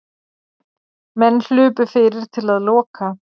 Menn hlupu fyrir til að loka.